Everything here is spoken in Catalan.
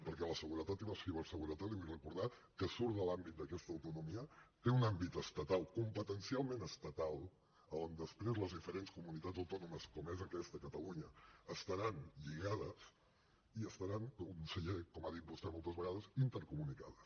perquè la seguretat i la ciberseguretat li ho vull recordar que surt de l’àmbit d’aquesta autonomia té un àmbit estatal competencialment estatal on després les diferents comunitats autònomes com és aquesta catalunya estaran lligades i estaran conseller com ha dit vostè moltes vegades intercomunicades